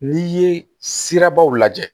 N'i ye sirabaw lajɛ